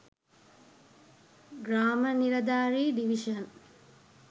gramaniladare divison